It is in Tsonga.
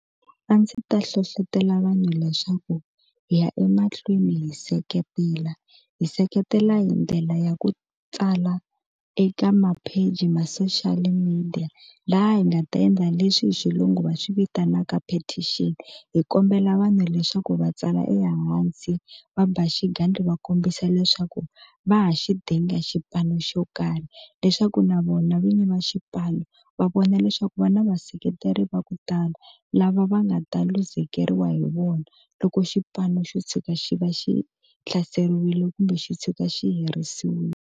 A ndzi ta hlohlotelo vanhu leswaku hi ya emahlweni hi seketela hi seketela hi ndlela ya ku tsala eka mapheji ma social media laha hi nga ta endla leswi hi xilungu va swi vitanaka patent hi kombela vanhu leswaku va tsala ehansi va ba xigandlo va kombisa leswaku va ha xi dinga xipano xo karhi leswaku na vona vinyi va xipano va vona leswaku va na vaseketeri va ku tala lava va nga ta luzekeriwa hi vona loko xipano xo tshuka xi va xi hlaseriwile kumbe xi tshuka xi herisiwile.